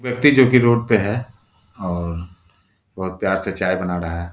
व्यक्ति जो कि रोड पे है और बहोत प्यार से चाय बना रहा है।